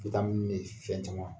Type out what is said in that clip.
Witamini bɛ fɛn caman